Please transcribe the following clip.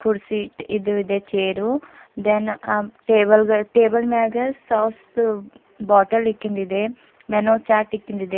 ರ್ ಸೀಟ್ ಇದು ಇದೆ ಚೇರು ಥೇನ್ ಟೇಬಲ್ ಗಳ್ ಟೇಬಲ್ ಮ್ಯಾಗೆ ಸಾಸ್ ದು ಬಾಟಲ್ ಇಕ್ಕಿಂದಿದೆ ಮೇನು ಚಾರ್ಟ್ ಇಕ್ಕಿಂದಿದೆ.